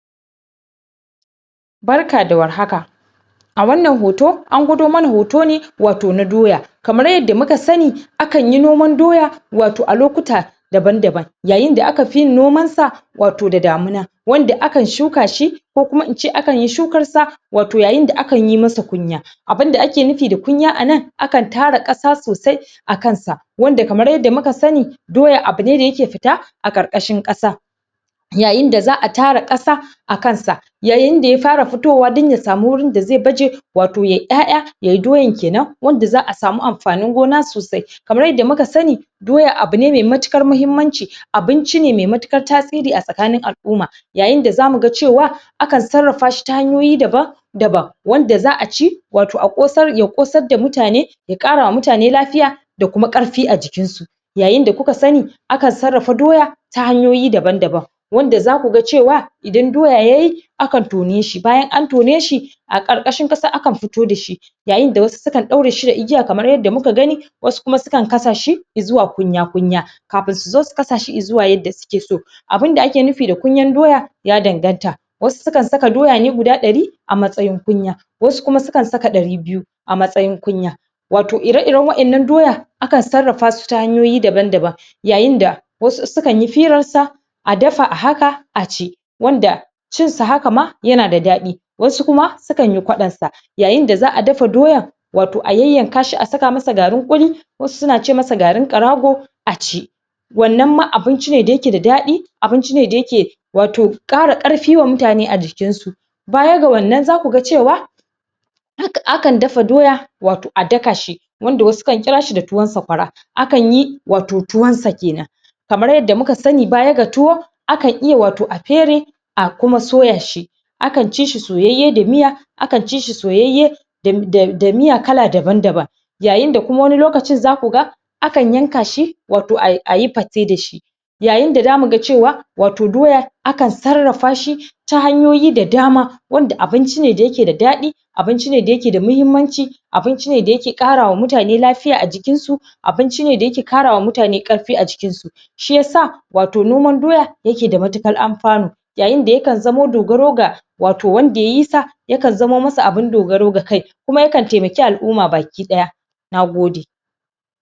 barka da war haka a wannan hoto an gwado mana hoto ne wato na doya kamar yadda muka sani akanyi noman doya wato a lokuta daban daban yayin da aka fi yin noman sa wato da damina wanda akan shuka shi ko kuma ince akan yi shukar sa wato yayin da akan yi masa kunya abunda da ake nufi ka kunya anan a kan tara kasa sosai akan sa wanda kamar yanda muka sani doya abune da yake fita a ƙarkashen kasa yayin da za'a tara kasa a kan sa yayin da ya fara fitowa dan ya samu wurin da zai baje wato yayi 'ya'ya yayi doyan kenan wanda za'a samu amfanin gona sosai kamar yadda muka sani doya abunee mai matuƙar mahimmanci abinci ne mai matuƙar tasiri a tsakanin al'umma yayin da zamu ga cewa akan sarafa shi ta hanyoyi daban daban wanda za'a ci wato ya kosar da mutane ya kara wa mutane lafiya da kuma ƙarfi a jikin su yayin da kuka sani akan sarrafa doya ta hanyoyi daban daban wanda zaku ga cewa idan doya yayi akan tone shi bayan an tone shi a ƙarkashin kasa akan fito dashi yayin da wasu su kan daure shi da igiya kamar yadda muka gani wasu sukan kasa shi zuwa kunya kunya kafun su zo su kasa shi zuwa yanda suke so abun da ake nufi da kunyan doya ya danganta wasu su kan saka doya ne guda ɗari a matsayin kunya wasu su kan saka ɗari biyu a matsayin kunya awto ire iren wa'ennan doya akan sarrafa su ta hanyoyi daban daban yayin da wasu su kan yi firan sa a ɗafa a haka a ci wanda cin sa haka ma yana da ɗadi wasu kuma su kanyi ƙwadon sa yayin da za'a dafa doyan wato a yan yanka shi a saka masa garin kulli wasu suna ce masa garin ƙarago a ci wannan ma abinci ne da yake da dadi abinci ne da yake wato kara ƙarfi wa mutane a jikin su baya ga wannan zaku ga cewa akan dafa doyan wato da daka shi wanda wasu su kan kira shi da tuwon saƙwara akanyi wato tuwon sa kenan kamar yadda muka sani baya ga tuwo akan iya wato a fere a kuma soya shi akan ci shi soyayye da miya akan ci shi soyyaye da miya kala daban daban yayin da kuma wani lokaci zaku ga akan yanka shi wato ayi pate da shi yayin da zamuga cewa wato doya akan sarrafa shi ta hanyoyi da dama wanda abinci ne da yake da dadi abinci ne da yake da mahimmanci abinci ne da yake kara wa mutane lafiya a jikin su abinci ne da yake kara wa mutane ƙarfi a jikin su shiyasa wato nomar doya yake da matuƙar amfano yayin da ya kan zamo dogaro ga wato wanda yayi sa yakan zamo masa abun dogaro ga kai kuma yakan taimake al'umma baki daya nagode